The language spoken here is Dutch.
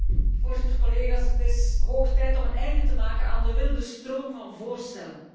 Voorzitter, het is hoog tijd om een einde te maken aan de wilde stroom van voorstellen.